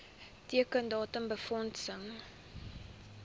teiken datum befondsing